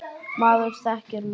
Maður þekkir mann.